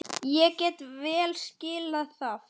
Ég get vel skilið það.